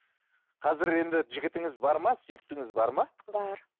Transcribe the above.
қазір енді жігітіңіз бар ма сүйіктіңіз бар ма бар